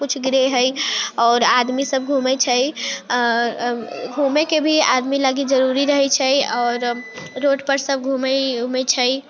कुछ grey hair और आदमी सब घूमे छै आ घुमेय के भी आदमी लागि जरुरी रही छै और रोड पे सब घुमेय उमय छै।